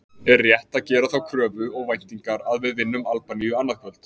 Er rétt að gera þá kröfu og væntingar að við vinnum Albaníu annað kvöld?